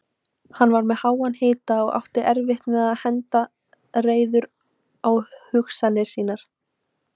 Hann var með háan hita og átti erfitt með að henda reiður á hugsunum sínum.